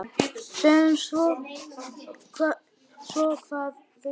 Sjáum svo hvað þeir gera.